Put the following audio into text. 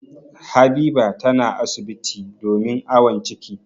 Habiba tana asibiti domin awon ciki.